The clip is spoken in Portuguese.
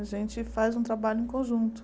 A gente faz um trabalho em conjunto.